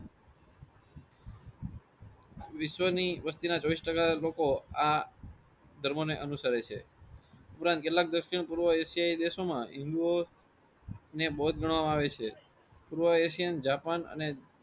વિશ્વ ની વસ્તીના ચોવીસ ટાકા લોકો આ ધર્મો ને અનુસરે છે. ઉપરાંત કેટલાક દક્ષીણ પૂર્વ એશિયાયી દેશો માં હિંદુઓ ને બૌદ્ધ ગણવામાં આવે છે. પૂર્વ એશિયન અને જાપાન